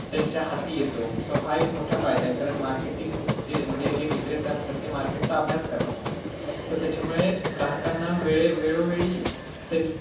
त्यांच्या हाती येतो. so हा एक मोठा फायदा आहे, कारण marketing चे म्हणजे जे विक्रेते असतात ते market चा अभ्यास करतात तर त्याच्यामुळे ग्राहकांना वेळ~ वेळोवेळी